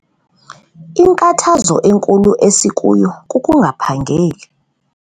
Inkathazo enkulu esikuyo kukungaphangeli.